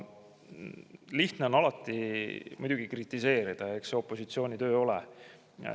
Lihtne on alati kritiseerida ja eks see opositsiooni töö ole.